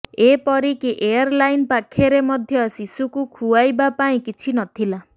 ଏପରିକି ଏୟାରଲାଇନ୍ ପାଖରେ ମଧ୍ୟ ଶୁଶୁକୁ ଖୁଆଇବା ପାଇଁ କିଛି ନଥିଲା